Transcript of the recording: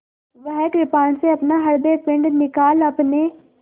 वह कृपाण से अपना हृदयपिंड निकाल अपने